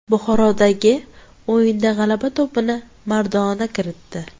Buxorodagi o‘yinda g‘alaba to‘pini Maradona kiritdi.